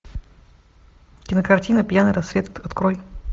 кинокартина пьяный рассвет открой